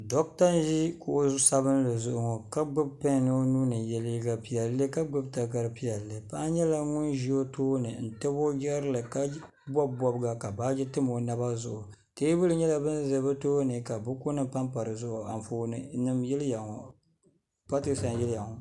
Doɣata n ʒi kuɣu sabinli zuɣu ŋɔ ka gbibi pen o nuuni n ye liiga piɛlli ka gbibi takara piɛlli paɣa nyɛla ŋun ʒi o tooni n tabi o jirili ka bobi bobga ka baaji tam o naba zuɣu teebuli nyɛla din za bɛ tooni ka buku nima pampa dizuɣu ka Anfooni nima n yiliya ŋɔ pateesa n yiliya ŋɔ.